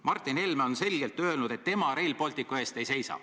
Martin Helme on selgelt öelnud, et tema Rail Balticu eest ei seisa.